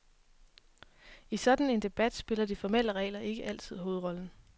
I sådan en debat spiller de formelle regler ikke altid hovedrollen.